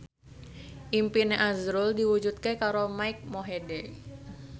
impine azrul diwujudke karo Mike Mohede